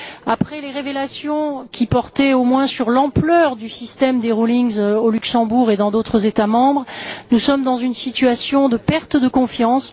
Après les révélations qui portaient, notamment, sur l'ampleur du système des rescrits fiscaux au Luxembourg et dans d'autres États membres, nous sommes dans une situation de perte de confiance.